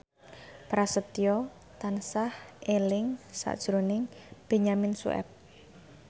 Prasetyo tansah eling sakjroning Benyamin Sueb